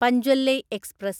പഞ്ച്വല്ലേയ് express